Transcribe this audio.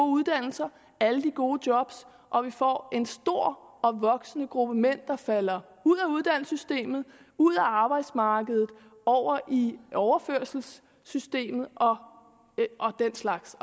uddannelser alle de gode job og vi får en stor og voksende gruppe mænd der falder ud af uddannelsessystemet ud af arbejdsmarkedet og over i overførselssystemet og den slags